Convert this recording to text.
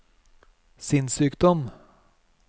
sinnssykdom